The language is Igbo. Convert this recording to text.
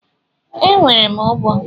E, nwere m ogbo.